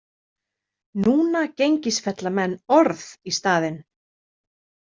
Núna gengisfella menn orð í staðinn.